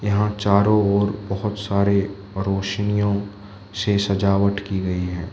चारों ओर बहोत सारे रोशनियों से सजावट की गई है।